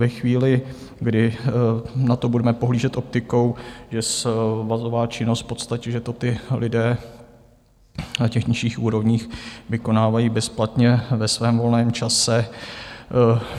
Ve chvíli, kdy na to budeme pohlížet optikou, že svazová činnost v podstatě, že to ti lidé na těch nižších úrovních vykonávají bezplatně ve svém volném čase.